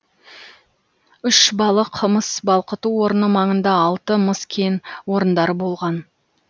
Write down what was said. үшбалық мыс балқыту орны маңында алты мыс кен орындары болған